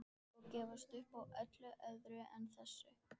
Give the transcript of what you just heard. Og gefist upp á öllu öðru en þessu.